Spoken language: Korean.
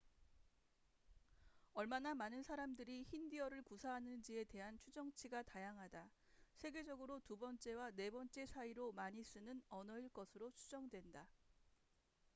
얼마나 많은 사람들이 힌디어를 구사하는지에 대한 추정치가 다양하다 세계적으로 두 번째와 네 번째 사이로 많이 쓰는 언어일 것으로 추정된다